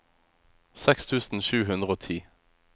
seks tusen sju hundre og ti